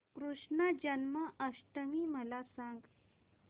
कृष्ण जन्माष्टमी मला सांग